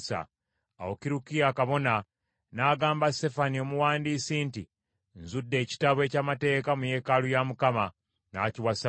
Awo Kirukiya kabona n’agamba Safani omuwandiisi nti, “Nzudde ekitabo eky’amateeka mu yeekaalu ya Mukama .” N’akiwa Safani.